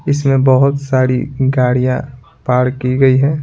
इसमें बहुत सारी गाड़ियां पार की गई हैं।